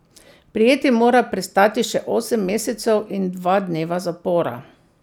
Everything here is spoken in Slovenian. Prijeti mora prestati še osem mesecev in dva dneva zapora.